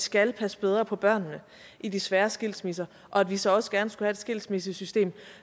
skal passe bedre på børnene i de svære skilsmisser og at vi så også gerne skal have et skilsmissesystem